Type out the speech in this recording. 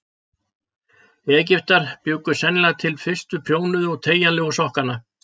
Egyptar bjuggu sennilega til fyrstu prjónuðu og teygjanlegu sokkana.